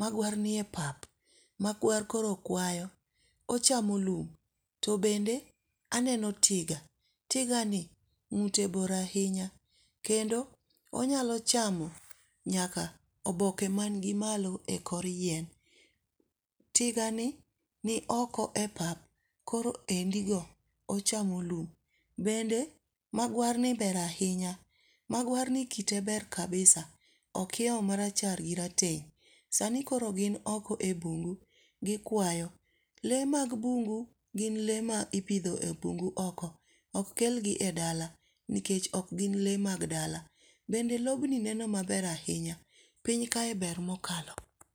Magwar nie pap. Magwar koro kwayo. Ochamo lum. To bende aneno tiga, tiga ni ngúte bor ahinya, kendo onyalo chamo nyaka oboke manigi malo e kor yien. Tiga ni ni oko e pap, koro endi go, ochamo lum. Bende magwarni ber ahinya. Magwarni kite ber kabisa. Okiewo marachar gi rateng'. Sani koro gin oko e bungu. Gikwayo. Le mag bungu, gin le ma ipidho e bungu oko. Ok kel gi e dala, nikech ok gin le mag dala. Bende lobni neno maber ahinya. Piny ka ber mokalo.